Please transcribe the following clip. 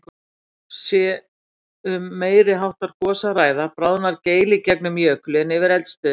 Sé um meiri háttar gos að ræða, bráðnar geil í gegnum jökulinn yfir eldstöðinni.